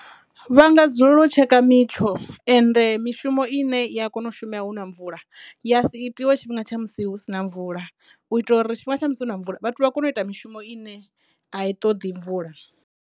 Vha nga dzulela u tsheka mitsho ende mishumo ine ya kona u shuma huna mvula ya a si itiwe tshifhinga tsha musi hu sina mvula u itela uri tshifhinga tsha musi hu na mvula vhathu vha kone u ita mishumo ine a i toḓi mvula.